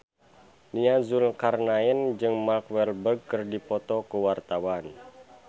Nia Zulkarnaen jeung Mark Walberg keur dipoto ku wartawan